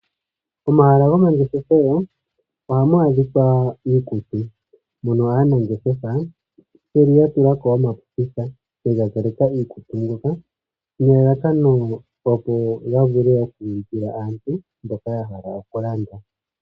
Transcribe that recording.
Momahala gomangeshefelo ohamu adhikwa iikutu, moka aanangeshefa yeli ya tulako omapopitha yega zaleka iikutu mbyoka, nelalakano opo ya vule oku ulikila aantu mboka ya hala oku landa.